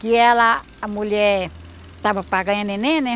Que ela, a mulher, estava para ganhar neném, né?